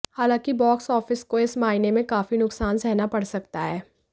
हालांकि box office को इस मायने में काफी नुकसान सहना पड़ सकता है